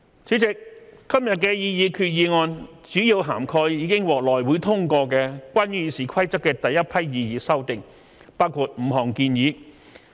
主席，今天的擬議決議案主要涵蓋已獲內會通過的關於《議事規則》的第一批擬議修訂，包括5項建議。